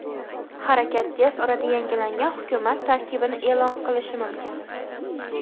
Harakat tez orada yangilangan hukumat tarkibini e’lon qilishi mumkin.